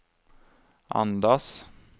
andas